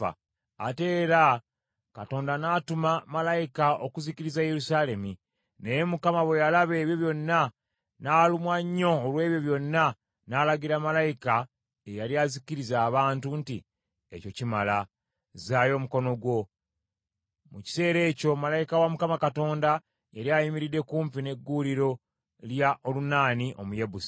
Ate era Katonda n’atuma malayika okuzikiriza Yerusaalemi. Naye Mukama bwe yalaba ebyo byonna, n’alumwa nnyo olw’ebyo byonna, n’alagira malayika eyali azikiriza abantu nti, “Ekyo kimala! Zzaayo omukono gwo.” Mu kiseera ekyo malayika wa Mukama Katonda yali ayimiridde kumpi ne gguuliro lya Olunaani Omuyebusi.